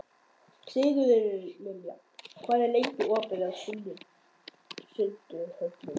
Sigurlilja, hvað er lengi opið í Sundhöllinni?